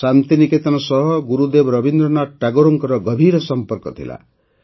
ଶାନ୍ତି ନିକେତନ ସହ ଗୁରୁଦେବ ରବୀନ୍ଦ୍ରନାଥ ଠାକୁରଙ୍କର ଗଭୀର ସମ୍ପର୍କ ଥିଲା